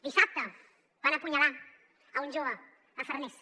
dissabte van apunyalar un jove a farners